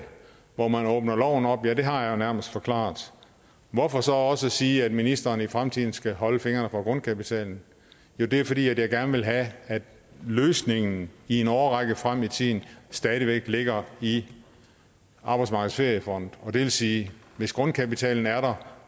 hvor man åbner loven op ja det har jeg jo nærmest forklaret hvorfor så også sige at ministeren i fremtiden skal holde fingrene fra grundkapitalen jo det er fordi jeg gerne vil have at løsningen i en årrække frem i tiden stadig væk ligger i arbejdsmarkedets feriefond og det vil sige at hvis grundkapitalen er der